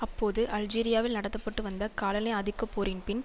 அப்போது அல்ஜீரியாவில் நடத்த பட்டு வந்த காலனி ஆதிக்கப்போரின் பின்